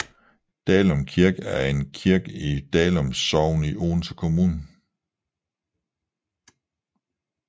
Dalum Kirke er en kirke i Dalum Sogn i Odense Kommune